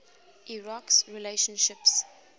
iraq s relationships